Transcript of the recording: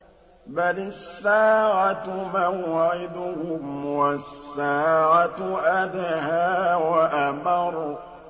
بَلِ السَّاعَةُ مَوْعِدُهُمْ وَالسَّاعَةُ أَدْهَىٰ وَأَمَرُّ